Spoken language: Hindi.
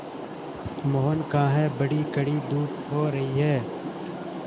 मोहन कहाँ हैं बड़ी कड़ी धूप हो रही है